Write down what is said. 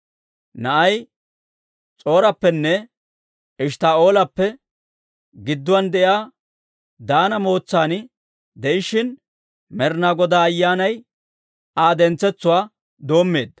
Na'ay S'or"appenne Eshttaa'oolappe gidduwaan de'iyaa Daana mootsan de'ishshin, Med'inaa Godaa Ayyaanay Aa dentsetsuwaa doommeedda.